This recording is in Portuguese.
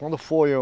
Quando foi o